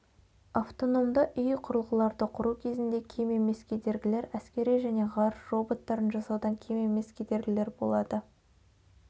автономды ұй құрылғыларды құру кезінде кем емес кедергілер әскери және ғарыш роботтарын жасаудан кем емес кедергілер болады